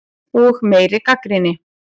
Og meiri gagnrýni.